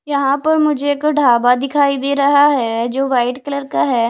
यहां पर मुझे एक ढाबा दिखाई दे रहा है जो वाइट कलर का है।